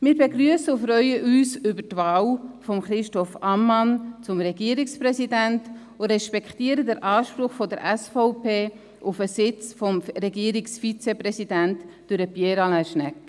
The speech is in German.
Wir begrüssen und freuen uns auf die Wahl von Christoph Ammann zum Regierungspräsidenten und respektieren den Anspruch der SVP auf den Sitz des Regierungsvizepräsidenten durch Pierre Alain Schnegg.